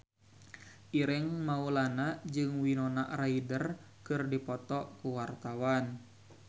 Ireng Maulana jeung Winona Ryder keur dipoto ku wartawan